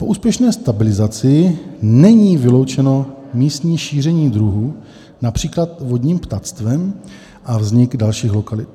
Po úspěšné stabilizaci není vyloučeno místní šíření druhu, například vodním ptactvem, a vznik dalších lokalit.